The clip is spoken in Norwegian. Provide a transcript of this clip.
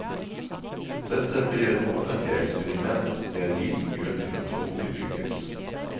Dette blir et offentlig eksperiment det er liten grunn til å tro vil lykkes.